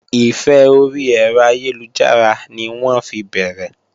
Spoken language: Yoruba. Ìfẹ́ orí ẹ̀rọ ayélujára ni wọ́n fi bẹ̀rẹ̀